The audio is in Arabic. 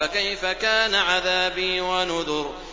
فَكَيْفَ كَانَ عَذَابِي وَنُذُرِ